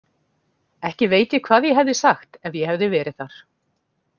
Ekki veit ég hvað ég hefði sagt ef ég hefði verið þar.